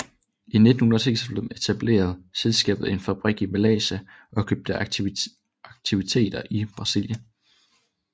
I 1996 etablerede selskabet en fabrik i Malaysia og købte aktiviteter i Brasilien